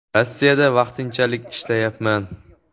Rossiyada vaqtinchalik ishlayapman.